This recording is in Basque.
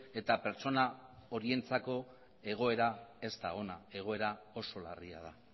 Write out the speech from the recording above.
eta pertsona horientzako egoera ez da ona egoera oso larria da